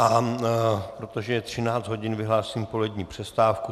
A protože je 13 hodin, vyhlásím polední přestávku.